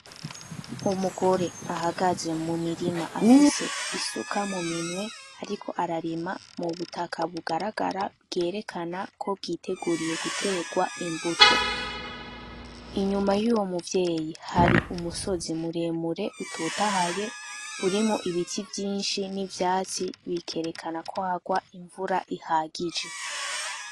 Umugore ahagaze mumirima afise isuka muminwe ariko ararima mubutaka bugaragara bwerekana ko bwiteguriye guterwa imbuto, inyuma yuyo muvyeyi hari umusozi muremure utotahaye urimwo ibiti vyinshi n'ivyatsi bikerekana ko hagwa imvura ihagije.